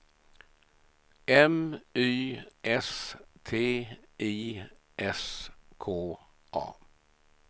M Y S T I S K A